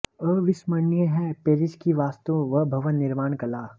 अविस्मरणीय है पेरिस की वास्तु व भवन निर्माण कला